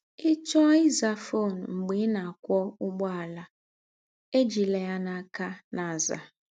Ị̀ chọọ ị́zà fọn mḡbé ị̀ nà - àkwó ụ̀gbọ̀àlà, éjílá yà n’ákà na - àzà.